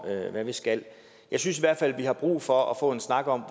hvad vi skal jeg synes i hvert fald vi har brug for at få en snak om